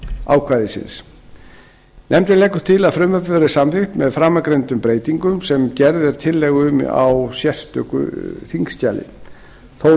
ákvæðisins nefndin leggur til að frumvarpið verði samþykkt með framangreindum breytingum sem gerð er tillaga um í sérstöku þingskjali þórunn